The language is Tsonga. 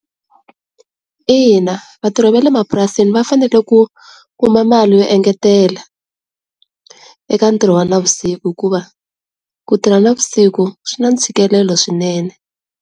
Ina, vatirhi va le mapurasini va fanele ku kuma mali yo engetelela eka ntirho wa na vusiku hikuva ku tirha na vusiku swi na ntshikelelo swinene.